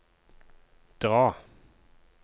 dra